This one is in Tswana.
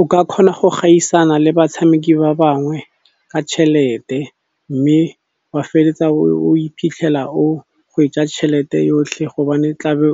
O ka kgona go gaisana le batshameki ba bangwe ka tšhelete mme wa feleletsa o iphitlhela o gwetsa tšhelete yotlhe gobane tlabe